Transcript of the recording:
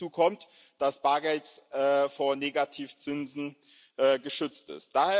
Hinzu kommt, dass Bargeld vor Negativzinsen geschützt ist.